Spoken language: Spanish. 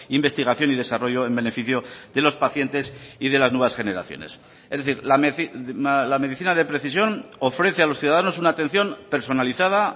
investigación y desarrollo en beneficio de los pacientes y de las nuevas generaciones es decir la medicina de precisión ofrece a los ciudadanos una atención personalizada